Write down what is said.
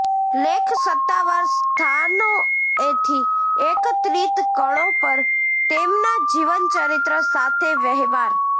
લેખ સત્તાવાર સ્થાનોએથી એકત્રિત કણો પર તેમના જીવનચરિત્ર સાથે વહેવાર